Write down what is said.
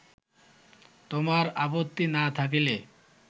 তোমার আপত্তি না থাকিলে